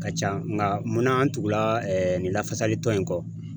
Ka ca nka munna an tugula nin lafasalitɔn in kɔ